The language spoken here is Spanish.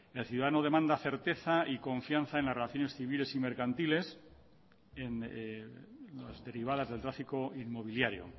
el ciudadano demanda certeza y confianza en las relaciones civiles y mercantiles en las derivadas del tráfico inmobiliario